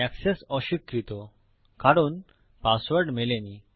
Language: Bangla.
এক্সেস অস্বীকৃত কারণ পাসওয়ার্ড মেলেনি